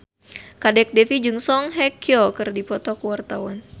Kadek Devi jeung Song Hye Kyo keur dipoto ku wartawan